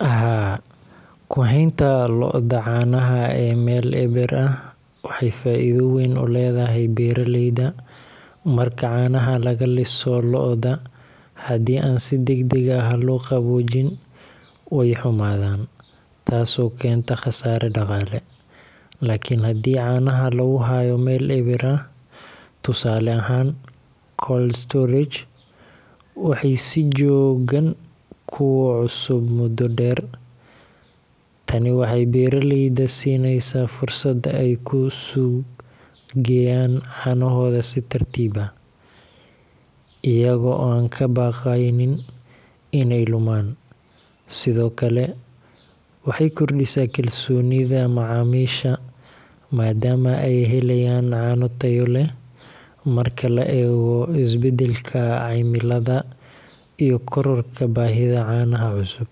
Haa kuhaynta lo'da caanaha ee Mel eber ah waxay faidho weyn uledhahay beeraleyda. Marka caanaha lagaliso lo'da hadii an si dag dag lo qabojin way xumadhan taaso kenta qasara daqale lakin hadii caanaha laguhayo Mel eber ah, tusale ahaan cold storage waxay si joogan kucusub muda deer. tani waxay beeraleyda siineysa fursad ay ku suuq geyaan caanohodha si tartiib ah, iyago an kabaqeynin inay lumaan. Sidhokale waxay kordisa kalsonidha macamisha madaama ay helayaan caano taayo leh, marka la eego isbadalka caymiladha iyo kororka bahidha caanaha cusub.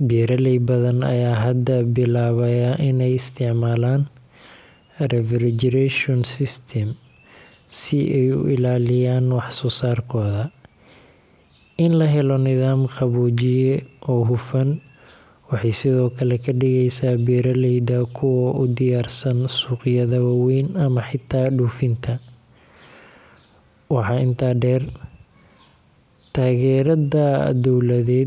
Beeraley badhan aya hada bilabaaya inay isticmalan arrivagition system si ay u ilaliyaan wax sosaarkodha. In lahelo nidhaam qabojiya oo hufan waxay sidhokale kadigeysa beeraleyda kuwa u diyaarsan suuqyadha waweyn ama xita dufinta. waxa inta deer taagerada dowladhed.